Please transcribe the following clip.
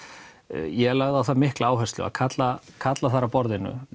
ég lagði á það mikla áherslu að kalla kalla þar að borðinu